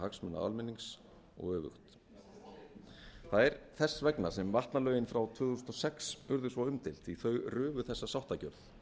hagsmuna almennings og öfugt það er þess vegna sem vatnalögin frá tvö þúsund og sex urðu svo umdeild því þau rufu þessa sáttargjörð